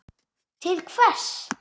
Til hvers?